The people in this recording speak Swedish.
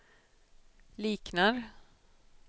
liknar